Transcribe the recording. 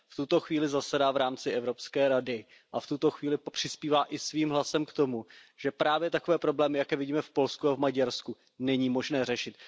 V tuto chvíli zasedá v rámci Evropské rady a v tuto chvíli přispívá i svým hlasem k tomu, že právě takové problémy, jaké vidíme v Polsku a v Maďarsku, není možné řešit.